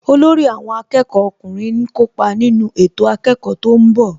Olórí àwọn akẹ́kọ̀ọ́ ọkùnrin ń kópa nínú ètò akẹ́kọ̀ọ́ tó ń bọ̀